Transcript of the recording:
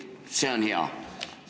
See on hea!